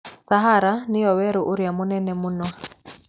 Sahara nĩyo werũ ũrĩa mũnene mũno.